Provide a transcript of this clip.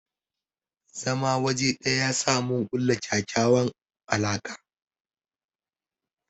zaman waje ɗaya yasa mun kulla ƙyaƙyawan alaka.